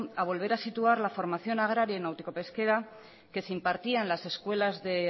a volver a situar la formación agraria y náutico pesquera que se impartía en las escuelas de